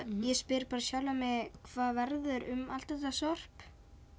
ég spyr bara sjálfan mig hvað verður um allt þetta sorp